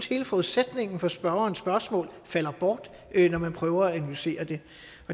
hele forudsætningen for spørgerens spørgsmål falder bort når man prøver at analysere det